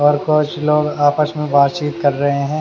और बहुत से लोग आपस में बातचीत कर रहे हैं।